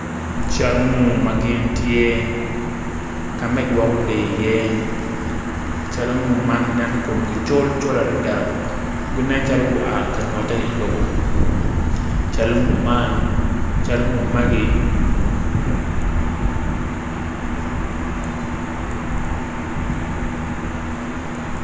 Cal ngu ma gin tye ka ma gigwoko lee iye cal ngu mn ginen komgi col col adada ginen calo gua ka nyotte i lobo cal ngu man